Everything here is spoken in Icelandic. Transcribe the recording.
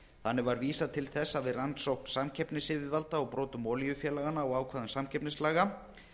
þannig var vísað til þess að við rannsókn samkeppnisyfirvalda á brotum olíufélaganna á ákvæðum samkeppnislaga